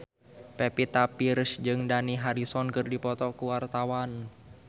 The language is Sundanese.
Pevita Pearce jeung Dani Harrison keur dipoto ku wartawan